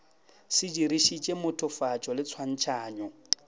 se dirišitše mothofatšo le tshwantšhanyo